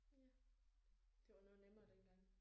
Det var noget nemmere dengang